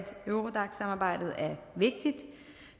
eurodac samarbejdet er vigtigt